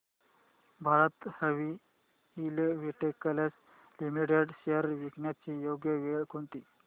Bharat heavy electricals limited shares विकण्याची योग्य वेळ कोणती